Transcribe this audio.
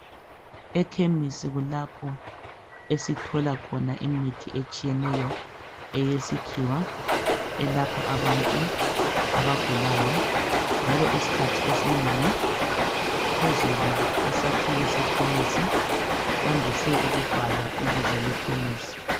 Ekhemisi kulapho esithola khona imithi etshiyeneyo eyesikhiwa elapha abantu abagulayo njalo isikhathi esinengi phezulu kwesakhiwo sekhemisi kwandise ukubhalwa ibizo lekhemisi.